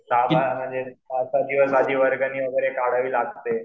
सहा सात दिवस आधी वर्गणी वगैरे काढावी लागते.